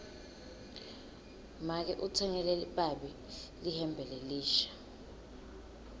make utsengele babe lihembe lelisha